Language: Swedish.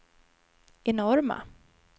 enorma